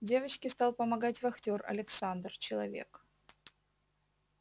девочке стал помогать вахтёр александр человек